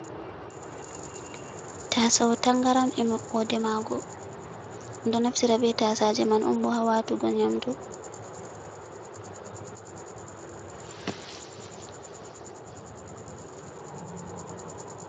Tasau tangaram e maɓɓode mago, ɓe ɗo naftira be tasaje man on bo ha watugo nyamdu.